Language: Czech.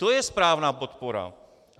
To je správná podpora.